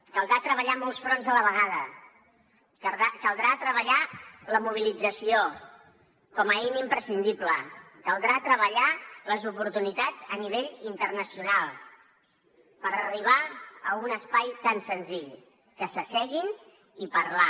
caldrà treballar molts fronts a la vegada caldrà treballar la mobilització com a eina imprescindible caldrà treballar les oportunitats a nivell internacional per arribar a un espai tan senzill que s’asseguin i parlar